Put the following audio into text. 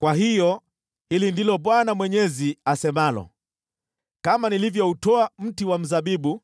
“Kwa hiyo hili ndilo Bwana Mwenyezi asemalo: Kama nilivyoutoa mti wa mzabibu